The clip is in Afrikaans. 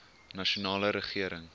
nasionale regering